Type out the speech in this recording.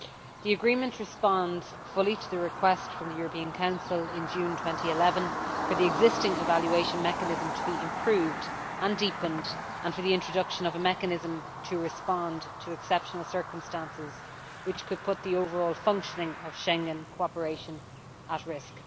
The agreement responds fully to the request from the European Council in June 2011 for the existing evaluation mechanism to be improved and deepened, and for the introduction of a mechanism to respond to exceptional circumstances which could put the overall functioning of Schengen cooperation at risk.